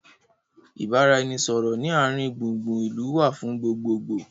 ìbáraẹnisọọ̀rọ̀ ni àárín gbùngbùn ìlú wá fún gbogbogboo